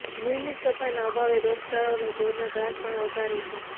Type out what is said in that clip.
નિયમિત સફાઈના અભાવે રોગચાળો અને ઢોરના ત્રાસ પણ વધારે છે